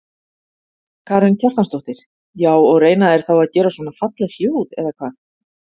Karen Kjartansdóttir: Já og reyna þeir þá að gera svona falleg hljóð eða hvað?